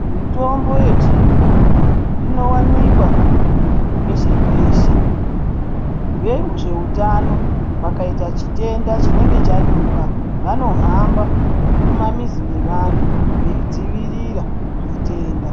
Mitombo yechiyungu inowanikwa peshe-peshe, vezveutano pakayita chitenda chinenge chanyuka, vanohamba mumamizi mevana, veyi dzivirira chitenda.